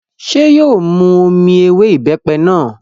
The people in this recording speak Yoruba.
Ṣé yóò mu omi ewé ìbẹ́pẹ náà?